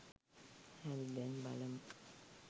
හරි දැන් බලමු